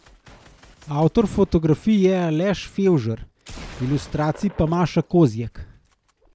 Avtor fotografij je Aleš Fevžer, ilustracij pa Maša Kozjek.